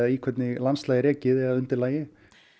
í hvernig landslagi er ekið eða undirlagi